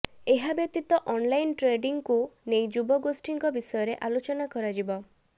ଏହା ବ୍ୟତୀତ ଅନଲାଇନ୍ ଟ୍ରେଡ଼ିଂକୁ ନେଇ ଯୁବଗୋଷ୍ଠୀଙ୍କ ବିଷୟରେ ଆଲୋଚନା କରାଯିବ